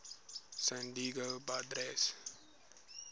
san diego padres